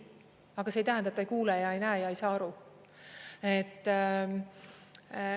Aga see ei tähenda, et ta ei kuule ja ei näe ja ei saa aru.